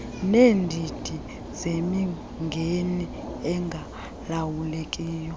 neendidi zemingeni engalawulekiyo